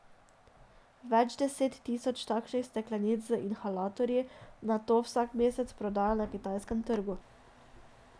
Več deset tisoč takšnih steklenic z inhalatorji nato vsak mesec prodajo na kitajskem trgu.